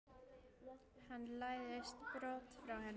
Hann læðist brott frá henni.